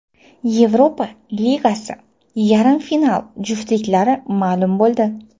Yevropa Ligasi yarim final juftliklari ma’lum bo‘ldi.